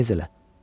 Yığ tez elə.